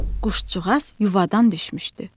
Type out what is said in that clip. Quşcuğaz yuvadan düşmüşdü.